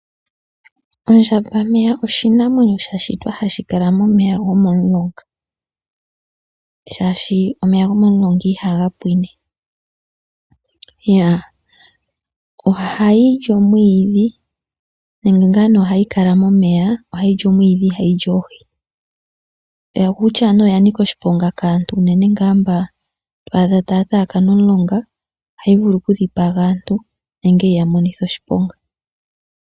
Ondjambameya oshinamwenyo sha shitwa hashi kala momeya go momulonga, shaashi omeya gomo mulonga ihaga pwine. Ohayi li omwiidhi, nenge ngaa nee ohayi kala momeya ohayi li omwiidhi ihayi li Oohi. Yo okutya nee oya nika oshiponga kaantu unene ngaa mba to adha taya taakana omulonga, ohayi vulu oku dhipaga aantu nenge yi ya monithe oshiponga.